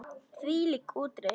Hvílík útreið!